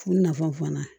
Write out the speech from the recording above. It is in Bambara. U nafa fana